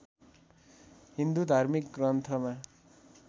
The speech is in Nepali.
हिन्दू धार्मिक ग्रन्थमा